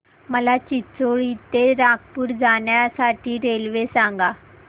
मला चिचोली ते नागपूर जाण्या साठी रेल्वे सांगा